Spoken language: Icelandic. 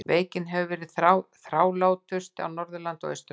Veikin hefur verið þrálátust á Norðurlandi og Austurlandi.